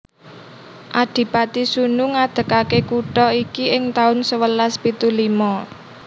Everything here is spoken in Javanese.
Adipati Sunu ngadegake kutha iki ing taun sewelas pitu limo